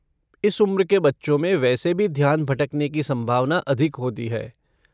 इस उम्र के बच्चों में वैसे भी ध्यान भटकने की संभावना अधिक होती है।